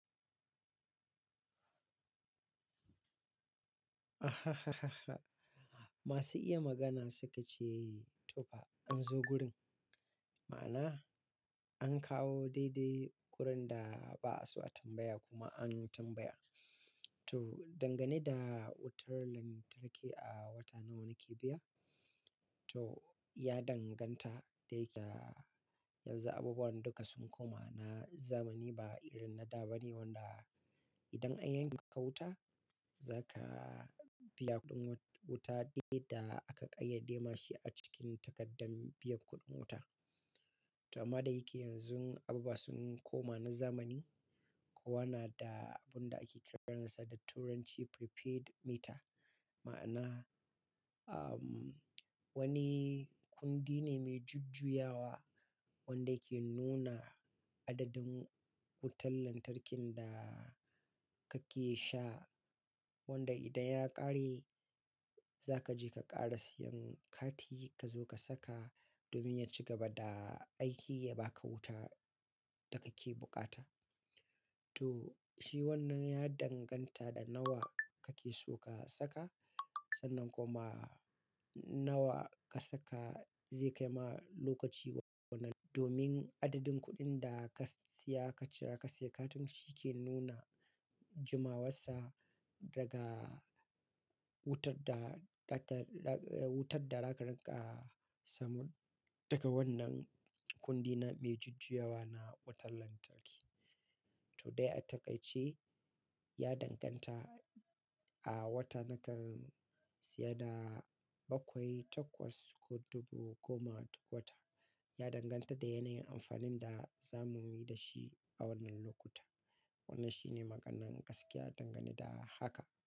Masu iya magana suka ce, "Tofa an zo gurin." Ma'ana an kawo daidai kurin da ba'a so a tambaya kuma an tambaya. To, dangane da wutar lantarki a wata nawa ne ke biya? To, ya danganta da yake yanzu abubuwan duka sun koma na zamani ba irin na da ba ne wanda idan an yanke ka wuta, za ka biya kuɗin wuta duk yadda aka ƙayyade mashi a cikin takardar biyan kuɗin wuta. To, amma da yake yanzu abubuwa sun koma na zamani, kuwa na da abun da ake kiransa da turanci Prepaid Meter, ma'ana, um, wani kundi ne mai jujjuyawa wanda yake nuna adadin wutar lantarkin da kake sha wanda idan ya ƙare za ka je ka ƙara siyan kati ka zo ka saka domin ya ci gaba da aiki ya ba ka wuta da kake buƙata. To, shi wannan ya danganta da nawa kake so ka saka, sannan kuma nawa ka saka zai kai ma lokaci wanna domin adadin kuɗin da ka siya ka cire ka saya katin shi ke nuna jimawarsa daga wutar da ɗatar, wutar da zaka riƙa samun daga wannan kundi na mai jujjuyawa na wutar lantarki. To, dai a takaice ya danganta a wata nakan siya da bakwai takwas ko dubu goma wata, ya danganta da yanayin amfanin da za mu yi da shi a wannan lokuta. Wannan shine maganan gaskiya dangane da haka.